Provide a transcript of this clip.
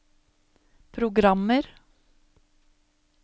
programmer